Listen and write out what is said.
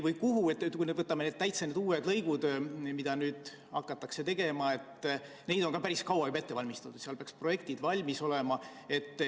Kui võtame need täitsa uued lõigud, mida nüüd hakatakse tegema – neid on päris kaua juba ette valmistatud, projektid peaks valmis olema.